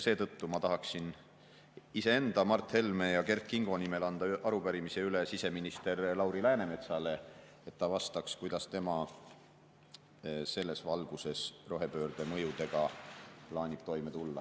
Seetõttu ma tahaksin iseenda, Mart Helme ja Kert Kingo nimel anda üle arupärimise siseminister Lauri Läänemetsale, et ta vastaks, kuidas tema selles valguses rohepöörde mõjudega plaanib toime tulla.